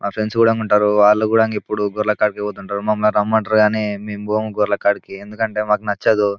మా ఫ్రెండ్స్ గూడా ఉంటారు వాళ్లను కూడా ఎప్పుడు గోర్ల కాడికి పోతుంటారు నన్ను రమ్మంటారు కానీ నేను పోను గోర్ల గాడికి ఎందుకంటే నాకు నచ్చదు.